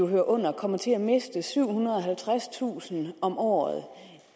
hører under kommer til at miste syvhundrede og halvtredstusind om året